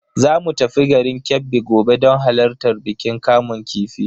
Zamu tafi garin Kebbi gobe don halartar bikin kamun kifi.